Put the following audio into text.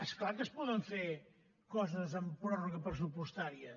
és clar que es poden fer coses amb pròrroga pressupostària